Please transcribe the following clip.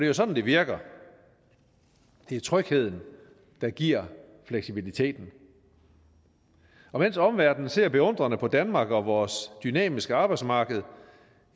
jo sådan det virker det er trygheden der giver fleksibiliteten og mens omverdenen ser beundrende på danmark og vores dynamiske arbejdsmarked